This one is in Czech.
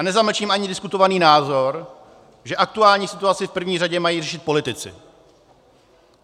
A nezamlčím ani diskutovaný názor, že aktuální situaci v první řadě mají řešit politici.